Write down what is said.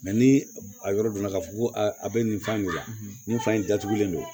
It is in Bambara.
ni a yɔrɔ dɔnna k'a fɔ ko a bɛ nin fan de la nin fan in datugulen don